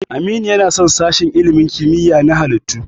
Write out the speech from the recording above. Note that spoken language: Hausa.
Aminu yana son sashen ilimin kimiyya na halittu.